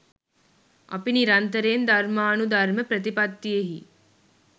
අපි නිරන්තරයෙන් ධර්මානුධර්ම ප්‍රතිපත්තියෙහි